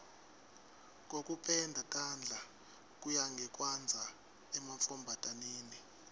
kokupenda tandla kuya ngekwandza emantfombataneni